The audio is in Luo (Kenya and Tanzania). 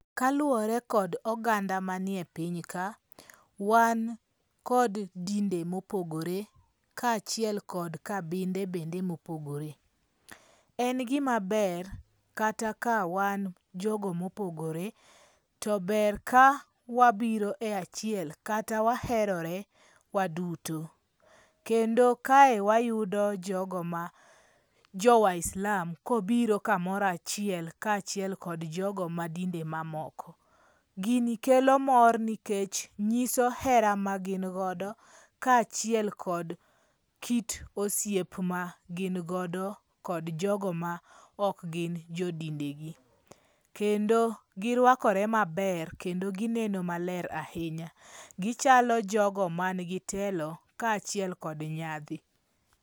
Kaluwore kod oganda manie piny ka, wan kod dinde mopogore kaachiel kod kabinde bende mopogore. En gima ber kata ka wan jogo mopogore to ber ka wabiro e achiel kata waherore waduto. Kendo kae wayudo jogo ma jo waislam kobiro kamoro achiel kaachiel kod dinde mamoko. Gini kelo mor nikech nyiso hera magin godo kaachiel kod kit osiep ma gin godo kod jogo ma ok gin jodindegi. Kendo girwakore maber kendo gineno maler ahinya. Gichalo jogo man gi telo kaachiel kod nyadhi,